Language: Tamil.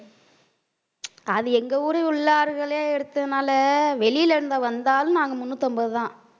அது எங்க ஊரில் உள்ளவர்களே எடுத்ததுனால வெளியில இருந்து வந்தாலும் நாங்க முன்னூத்தி ஐம்பதுதான்